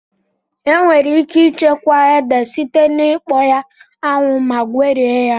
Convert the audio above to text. Enwere ike ịchekwa ede site na ikpọ ya 'anwụ ma gwerie ya